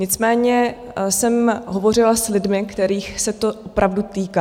Nicméně jsem hovořila s lidmi, kterých se to opravdu týká.